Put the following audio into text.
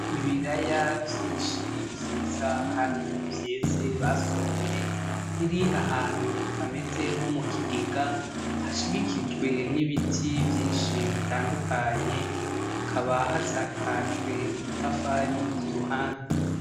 Ibiraya vyinshi vyiza kandi vyeze basoromye biri ahantu hameze nko mukigega hashigikijwe n'ibiti vyinshi bitandukanye hakaba hasakajwe udutafari kuruhande.